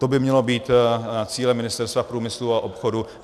To by mělo být cílem Ministerstva průmyslu a obchodu.